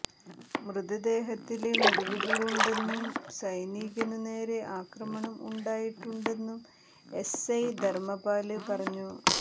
മൃതദേഹത്തില് മുറിവുകള് ഉണ്ടെന്നും സൈനികനു നേരെ ആക്രമണം ഉണ്ടായിട്ടുണ്ടെന്നും എസ്ഐ ധര്മ്മപാല് പറഞ്ഞു